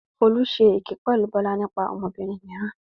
Folú ṣe èké pẹ̀lú Bọ́lá nípa ọmọbìnrin mìíràn.